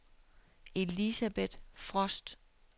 Elisabeth Frost